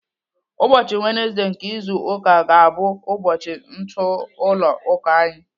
Ụbọchị wenezdee nke izu ụka ga-abụ ụbọchị ntụ ụlọ ụka anyị.